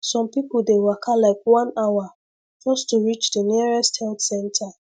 some people dey waka like one hour just to reach the nearest health center